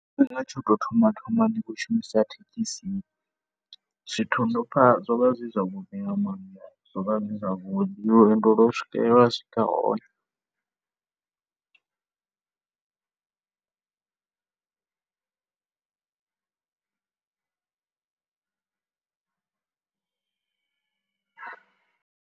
Tshifhinga tsha u tou thoma thoma ndi tshi khou shumisa thekhisi, ndo pfha, zwo vha zwi zwavhuḓi, zwo vha zwi zwavhuḓi nga maanḓa lwendo lwo swike, lwa swika hone.